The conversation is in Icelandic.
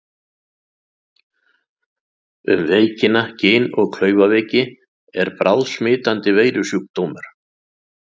Um veikina Gin- og klaufaveiki er bráðsmitandi veirusjúkdómur.